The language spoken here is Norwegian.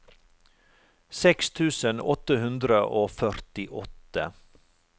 seks tusen åtte hundre og førtiåtte